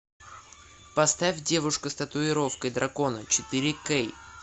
поставь девушка с татуировкой дракона четыре кей